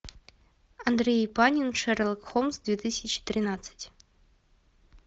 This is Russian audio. андрей панин шерлок холмс две тысячи тринадцать